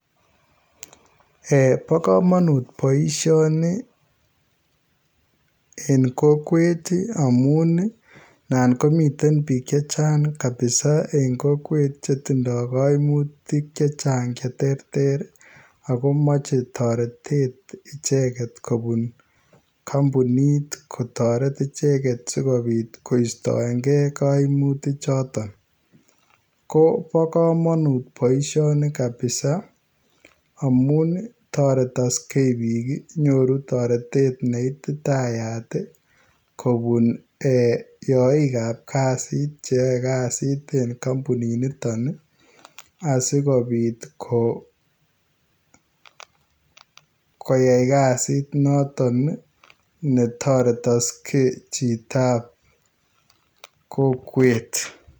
Eeh Bo kamanut boisioni en kokwet ii amuun naan komiteen biik chechaang [kabisa] en kokwet chetindai kaimutiik chechaang cheterter agomachei taretet ichegeet kobuun kampunit kotaretiin ichegeet sikobiit koistaen gei kaimutiik chotoon Kobo kamanut boisioni kabisa amuun ii taretaksei biik amuun nyoruu taretet neititayaat ii kobuun yaiik ab kazit che yae kazit en kampunit nitoon ii asikobiit ko koyai kazit noton netaretaksei chitoo anan ko kokweet.